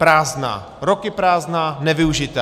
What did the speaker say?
Prázdná, roky prázdná, nevyužitá.